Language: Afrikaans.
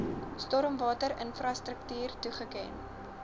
stormwater infrastruktuur toegeken